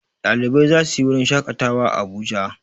Ɗalibai za su wurin shaƙatawa a Abuja.